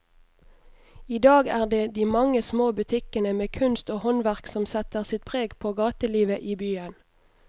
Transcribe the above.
I dag er det de mange små butikkene med kunst og håndverk som setter sitt preg på gatelivet i byen.